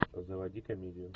заводи комедию